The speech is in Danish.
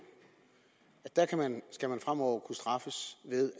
skal man fremover kunne straffes ved